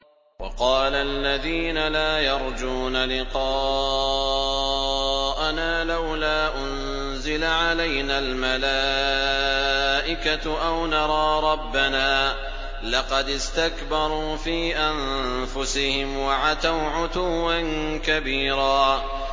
۞ وَقَالَ الَّذِينَ لَا يَرْجُونَ لِقَاءَنَا لَوْلَا أُنزِلَ عَلَيْنَا الْمَلَائِكَةُ أَوْ نَرَىٰ رَبَّنَا ۗ لَقَدِ اسْتَكْبَرُوا فِي أَنفُسِهِمْ وَعَتَوْا عُتُوًّا كَبِيرًا